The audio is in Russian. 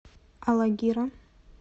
алагира